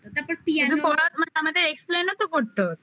আমাদের explain ও তো করতে হতো